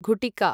घुटिका